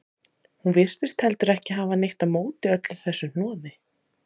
Hún virtist heldur ekki hafa neitt á móti öllu þessu hnoði.